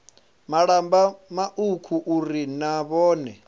malamba mauku uri na vhone